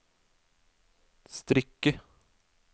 strikke